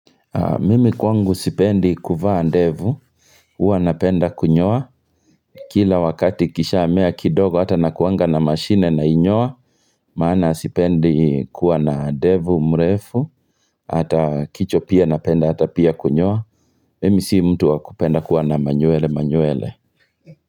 Mimi kwangu sipendi kuvaa ndevu, huwa napenda kunyoa, kila wakati kishamea kidogo hata nakuanga na mashine nainyoa, maana sipendi kuwa na ndevu mrefu, hata kichwa pia napenda hata pia kunyoa, mimi si mtu wakupenda kuwa na manywele manywele.